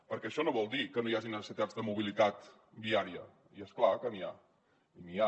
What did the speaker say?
perquè això no vol dir que no hi hagi necessitats de mobilitat viària i és clar que n’hi ha